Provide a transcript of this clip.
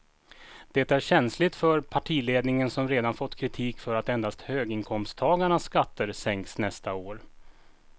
Det är känsligt för partiledningen som redan fått kritik för att endast höginkomsttagarnas skatter sänks nästa år.